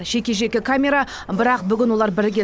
жеке жеке камера бірақ бүгін олар бірге